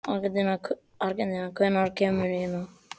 Angelíka, hvenær kemur nían?